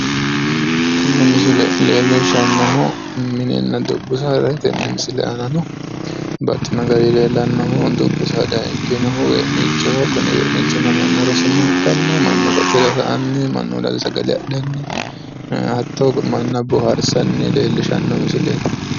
tini misile leellishshannohu mininna dubbu saadaati tenne misile aanano baxino garinni leellannohu dubbu saada ikkinohu wee'niichoho kuni wee'niichino manna rosinoha ikkanna mannu qotira sa'anni mannuwiinni sagale adhanni ee hattoo manna boohaarsanni leellishshanno misileeti.